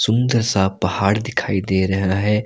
सुंदर सा पहाड़ दिखाई दे रहा है।